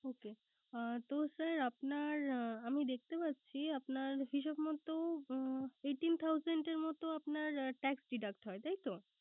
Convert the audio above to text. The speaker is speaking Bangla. Okay তো Sir আপনার আমি দেখতে পাচ্ছি আপনার হিসাব মতো eighteen thousand এর মত আপনার Tax deduct হয় তাইতো